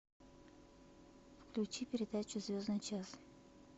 включи передачу звездный час